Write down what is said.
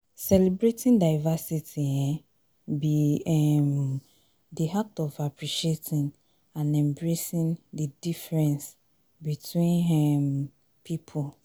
celebrating diversity um be um di act of appreciating and embracing di differences between um people.